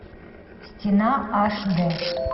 стена аш дэ